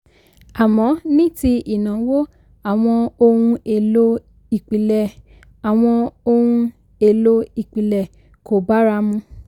àmọ́ ní ti ìnáwó àwọn ohun-èlò-ìpìlẹ̀ àwọn ohun-èlò-ìpìlẹ̀ kò bára mu